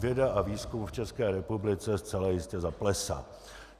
Věda a výzkum v České republice zcela jistě zaplesá.